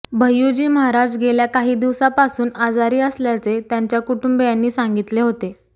भय्यूजी महाराज गेल्या काही दिवसापासून आजारी असल्याचे त्यांच्या कुटुंबीयांनी सांगितले होते